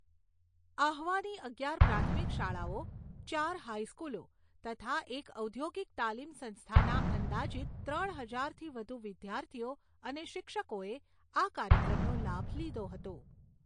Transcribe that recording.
આહ્વાની અગિયાર પ્રાથમિક શાળાઓ, ચાર હાઇસ્કૂલો, તથા એક ઔદ્યોગિક તાલીમ સંસ્થાના અંદાજીત ત્રણ હજારથી વધુ વિદ્યાર્થીઓ અને શિક્ષકોએ આ કાર્યક્રમનો લાભ લીધો હતો.